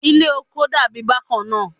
Ile oko dabi bakanna